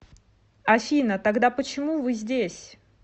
афина тогда почему вы здесь